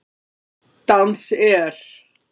Dans er?